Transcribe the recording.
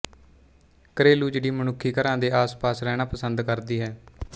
ਘਰੇਲੂ ਚਿੜੀ ਮਨੁੱਖੀ ਘਰਾਂ ਦੇ ਆਸਪਾਸ ਰਹਿਣਾ ਪਸੰਦ ਕਰਦੀ ਹੈ